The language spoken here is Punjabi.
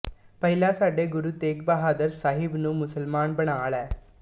ਪਹਿਲਾਂ ਸਾਡੇ ਗੁਰੂ ਤੇਗ ਬਹਾਦਰ ਸਾਹਿਬ ਨੂੰ ਮੁਸਲਮਾਨ ਬਣਾ ਲੈ